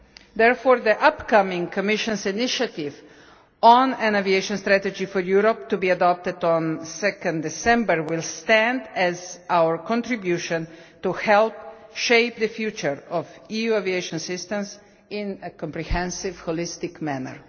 Therefore, the upcoming Commission initiative on an Aviation Strategy for Europe, to be adopted on 2 December, will stand as our contribution to help shape the future of the EU aviation system in a comprehensive, holistic manner.